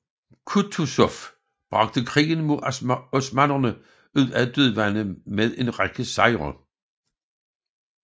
Kutuzov bragte krigen mod osmannerne ud af et dødvande med en række sejre